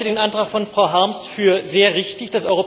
Ich halte den Antrag von Frau Harms für sehr richtig.